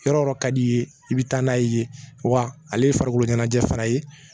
Yɔrɔ yɔrɔ ka d'i ye i bɛ taa n'a ye yen wa ale ye farikolo ɲɛnajɛ fara yen